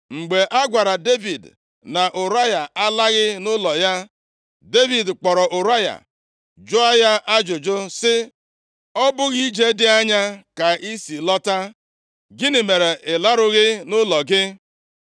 Mgbe a gwara Devid na Ụraya alaghị nʼụlọ ya, Devid kpọrọ Ụraya, jụọ ya ajụjụ sị, “Ọ bụghị ije dị anya ka i si lọta? Gịnị mere ị larughị nʼụlọ gị?”